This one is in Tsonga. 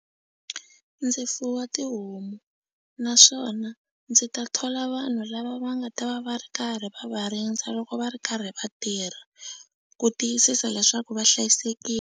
Ndzi fuwa tihomu naswona ndzi ta thola vanhu lava va nga ta va va ri karhi va rindza loko va ri karhi va tirha ku tiyisisa leswaku va hlayisekile.